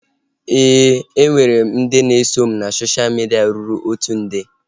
E nwere m ndị na eso m na sosha midia ruru otu nde